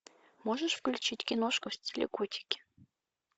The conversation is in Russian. можешь включить киношку в стиле котики